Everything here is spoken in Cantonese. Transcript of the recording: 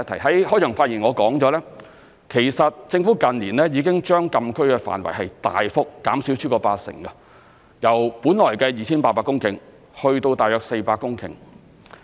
在開場發言我曾提及，其實政府近年已經將禁區範圍大幅減少超過八成，由本來的 2,800 公頃減至約400公頃。